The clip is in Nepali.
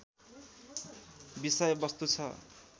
विषय वस्तु छ